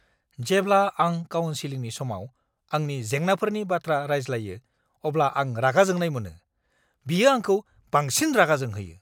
जेब्ला आं काउन्सिलिं समाव आंनि जेंनाफोरनि बाथ्रा रायज्लायो अब्ला आं रागा जोंनाय मोनो। बियो आंखौ बांसिन रागा जोंहोयो।